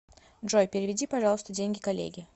джой переведи пожалуйста деньги коллеге